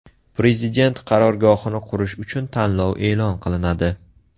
Prezident qarorgohini qurish uchun tanlov e’lon qilinadi.